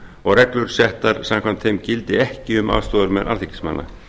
og reglur settar samkvæmt þeim gildi ekki um aðstoðarmenn alþingismanna